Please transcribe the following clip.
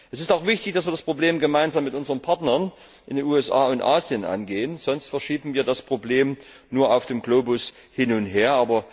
Es ist auch wichtig, dass wir das Problem gemeinsam mit unseren Partnern in den USA und Asien angehen, sonst verschieben wir das Problem nur auf dem Globus hin und her.